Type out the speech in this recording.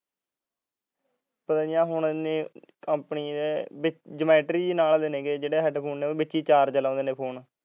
ਪਤਾ ਨੀ ਹੁਣ company ਦੇ ਜੁਮੈਟਰੀ ਜਿਹੀ ਦੇ ਨਾਲ ਐ ਜਿਹੜੇ headphone ਵਿਚੇ ਚਾਰਜ ਲਾਉਂਦੇ ਨੇ ਫੋਨ